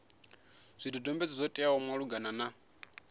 zwidodombedzwa zwo teaho malugana na